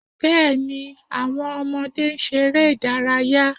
Bẹ́ẹ̀ni, àwọn ọmọdé ń ṣeré ìdárayá